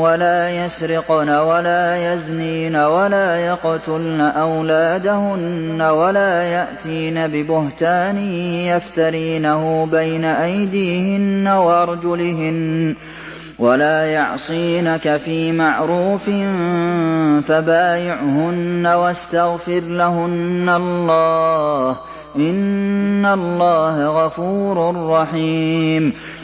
وَلَا يَسْرِقْنَ وَلَا يَزْنِينَ وَلَا يَقْتُلْنَ أَوْلَادَهُنَّ وَلَا يَأْتِينَ بِبُهْتَانٍ يَفْتَرِينَهُ بَيْنَ أَيْدِيهِنَّ وَأَرْجُلِهِنَّ وَلَا يَعْصِينَكَ فِي مَعْرُوفٍ ۙ فَبَايِعْهُنَّ وَاسْتَغْفِرْ لَهُنَّ اللَّهَ ۖ إِنَّ اللَّهَ غَفُورٌ رَّحِيمٌ